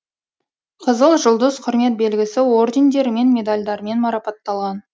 қызыл жұлдыз құрмет белгісі ордендерімен медальдармен марапатталған